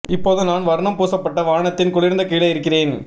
இப்போது நான் ஒரு வர்ணம் பூசப்பட்ட வானத்தின் குளிர்ந்த கீழே இருக்கிறேன்